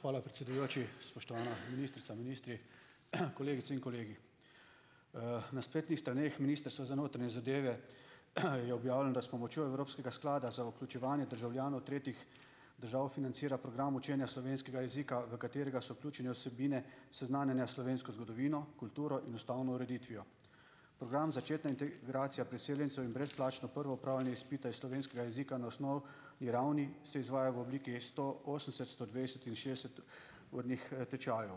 Hvala, predsedujoči. Spoštovana ministrica, ministri, kolegice in kolegi! Na spletnih straneh Ministrstva za notranje zadeve je objavljeno, da s pomočjo evropskega sklada za vključevanje državljanov tretjih držav financira program učenja slovenskega jezika, v katerega so vključene vsebine seznanjanja s slovensko zgodovino, kulturo in ustavno ureditvijo. Program začetne integracije priseljencev in brezplačno prvo opravljanje izpita iz slovenskega jezika na osnovni ravni se izvaja v obliki stoosemdeset-, stodvajset- in šestdeset- urnih, tečajev.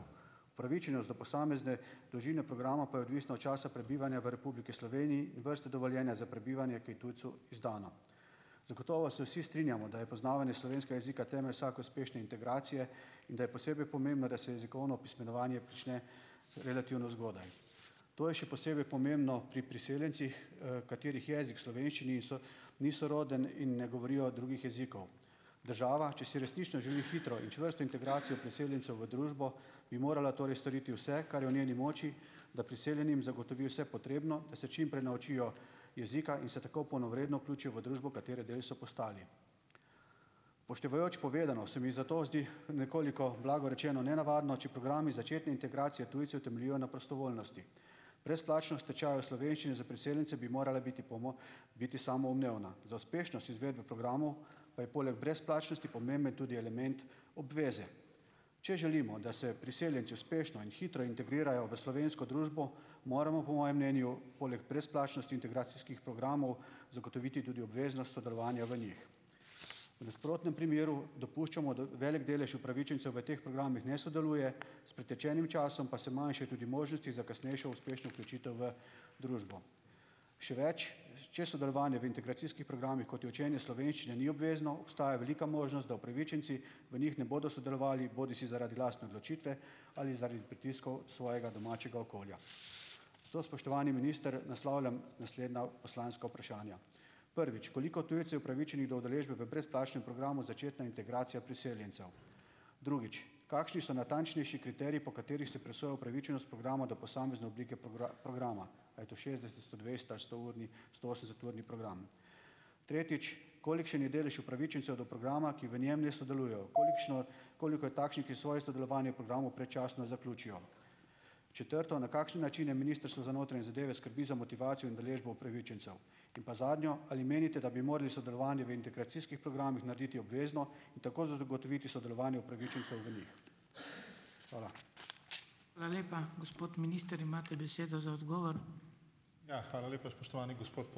Upravičenost do posamezne dolžine programa pa je odvisna od časa prebivanja v Republiki Sloveniji in vrste dovoljenja za prebivanje, ki je tujcu izdana. Zagotovo se vsi strinjamo, da je poznavanje slovenskega jezika temelj vsake uspešne integracije in da je posebej pomembno, da se jezikovno opismenjevanje prične relativno zgodaj. To je še posebej pomembno pri priseljencih, katerih jezik slovenščini ni soroden in ne govorijo drugih jezikov. Država, če si resnično želi hitro in čvrsto integracijo priseljencev v družbo, bi morala torej storiti vse, kar je v njeni moči, da priseljenim zagotovi vse potrebno, da se čim prej naučijo jezika in se tako polnovredno vključijo v družbo, katere del so postali. Upoštevajoč povedano se mi zato zdi nekoliko blago rečeno nenavadno, če programi začetne integracije tujcev temeljijo na prostovoljnosti. Brezplačnost tečajev slovenščine za priseljence bi morala biti biti samoumevna. Za uspešnost izvedbe programov pa je poleg brezplačnosti pomemben tudi element obveze. Če želimo, da se priseljenci uspešno in hitro integrirajo v slovensko družbo, moramo po mojem mnenju poleg brezplačnosti integracijskih programov zagotoviti tudi obvezno sodelovanje v njih. V nasprotnem primeru dopuščamo, da velik delež upravičencev v teh programih ne sodeluje, s pretečenim časom pa se manjša tudi možnost za kasnejšo uspešno vključitev v družbo. Še več. Če sodelovanje v integracijskih programih, kot je učenje slovenščine, ni obvezno, obstaja velika možnost, da upravičenci v njih ne bodo sodelovali bodisi zaradi lastne odločitve ali zaradi pritiskov svojega domačega okolja. To, spoštovani minister, naslavljam naslednja poslanska vprašanja. Prvič. Koliko tujcev je upravičenih do udeležbe v brezplačnem programu začetna integracija priseljencev. Drugič. Kakšni so natančnejši kriteriji, po katerih se presoja upravičenost programa do posamezne oblike programa, a je to šestdeset-, stodvajset- ali stourni, stoosemdeseturni program? Tretjič. Kolikšen je delež upravičencev do programa, ki v njem ne sodelujejo? Kolikšno, koliko je takšnih, ki svoje sodelovanje v programu predčasno zaključijo? Četrto. Na kakšen način je Ministrstvo za notranje zadeve skrbi za motivacijo in udeležbo upravičencev? In pa zadnje. Ali menite, da bi morali sodelovanje v integracijskih programih narediti obvezno in tako zagotoviti sodelovanje upravičencev v njih? Hvala.